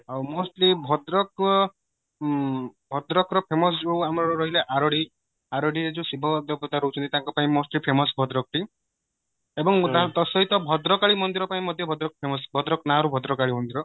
ଆଉ mostly ଭଦ୍ରକ ଉଁ ଭଦ୍ରକ ର famous ଯାଉ ଆମର ରହିଲା ଆରଡି ଆରଡି ରେ ଯଉ ଶିବ ଦେବତା ରାହୁଚନ୍ତି ତାଙ୍କ ପାଇଁ most famous ଭଦ୍ରକ ଟି ଏବଂ ତା ସହିତ ଭଦ୍ରକାଳୀ ମନ୍ଦିର ପାଇଁ ମଧ୍ୟ ଭଦ୍ରକ famous ଭଦ୍ରକ ନା ରୁ ଭଦ୍ରକାଳି ମନ୍ଦିର